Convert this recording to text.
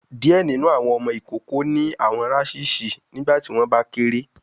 Diẹ ninu awọn ọmọ ikoko ni awọn rashes nigbati wọn ba kere